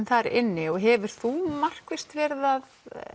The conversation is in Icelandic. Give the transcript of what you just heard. þar inni og hefur þú markvisst verið að